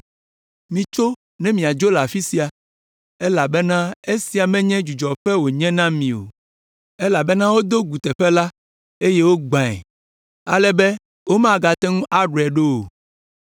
Mitso ne miadzo le afi sia, elabena esia menye dzudzɔƒe wònye na mi o; elabena wodo gu teƒe la, eye wogbãe, ale be womagate ŋu aɖɔe ɖo o.